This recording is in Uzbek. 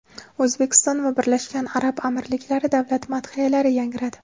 O‘zbekiston va Birlashgan Arab Amirliklari davlat madhiyalari yangradi.